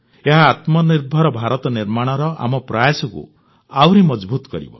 ଏହା ଆତ୍ମନିର୍ଭର ଭାରତ ନିର୍ମାଣର ଆମ ପ୍ରୟାସକୁ ଆହୁରି ମଜଭୁତ କରିବ